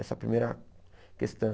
Essa primeira questão.